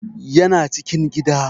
Yana cikin gida